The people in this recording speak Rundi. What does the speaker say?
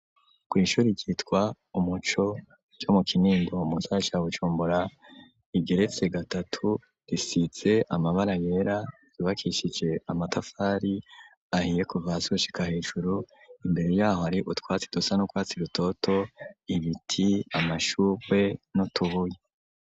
Kw'ishuri ryitwa umuco ryo mu Kinindo mu gisagara ca Bujumbura igeretse gatatu, risize amabara yera, yubakishije amatafari ahiye kuva hasi gushika hejuru, imbere yaho hari utwatsi dusa n'urwatsi rutoto, ibiti, amashurwe, n'utubuye.